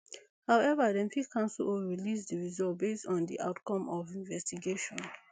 however dem fit cancel or release di results based on di outcome of investigation